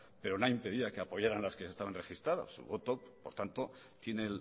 pero nada impedía que apoyarán las que se estaban registrando su voto por tanto tiene